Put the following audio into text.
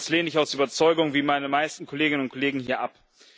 Das lehne ich aus Überzeugung wie meine meisten Kolleginnen und Kollegen hier ab.